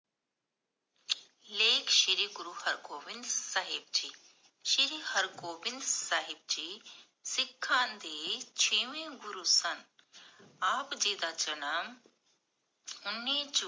ਲੇਖ ਸ਼੍ਰੀ ਗੁਰੂ ਹਰ ਗੋਬਿੰਦ ਸਾਹਿਬ ਜੀ, ਸ਼੍ਰੀ ਹਰਗੋਬਿੰਦ ਸਾਹਿਬ ਜੀ ਸਿਖਾਂ ਦੇ ਛੇਵੇਂ ਗੁਰੂ ਸਨ । ਆਪ ਜੀ ਦਾ ਜਨਮ ਉੰਨੀ ਜੂਨ